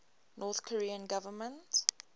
north korean government